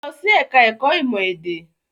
Lọ sí ẹ̀ka-ẹ̀kọ́ ìmọ̀-èdè!